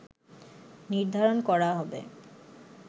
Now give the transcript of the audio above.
নির্ধারন করা হবে